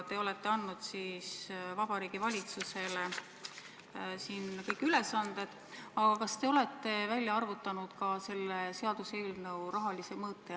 Te olete andnud Vabariigi Valitsusele siin kõik need ülesanded, aga kas te olete välja arvutanud ka selle seaduseelnõu rahalise mõõte?